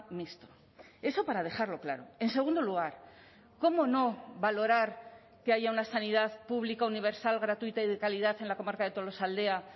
mixto eso para dejarlo claro en segundo lugar cómo no valorar que haya una sanidad pública universal gratuita y de calidad en la comarca de tolosaldea